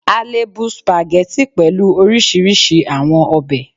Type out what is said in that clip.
A le bu Spaghetti pẹlu orisirisi awọn obe